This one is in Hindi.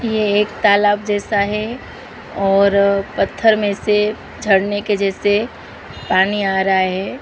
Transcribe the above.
ये एक तलाब जैसा है और पत्थर में से झरने के जैसे पानी आ रहा है।